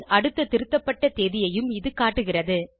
அடுத்த திருத்தப்பட்ட தேதியையும் இது காட்டுகிறது